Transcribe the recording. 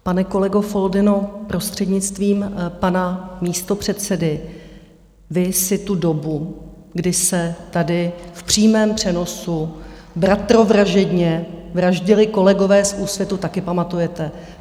Pane kolego Foldyno, prostřednictvím pana místopředsedy, vy si tu dobu, kdy se tady v přímém přenosu bratrovražedně vraždili kolegové z Úsvitu, taky pamatujete.